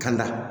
Ka na